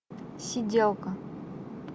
сиделка